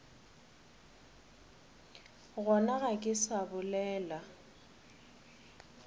gona ga ke sa bolela